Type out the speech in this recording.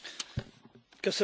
Elnök Asszony!